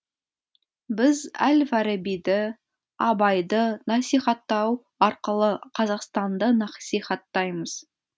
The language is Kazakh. біз әл фарабиді абайды насихаттау арқылы қазақстанды насихаттаймыз